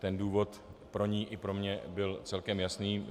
Ten důvod pro ni i pro mě byl celkem jasný.